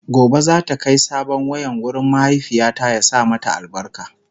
Gobe zata Kai sabon wayan wurin mahaifiyata ya sa albarka